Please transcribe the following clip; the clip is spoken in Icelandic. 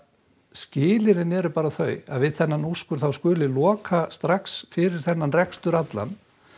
skilyrðin eru bara þau við þennan úrskurð skuli loka strax fyrir þennan rekstur allan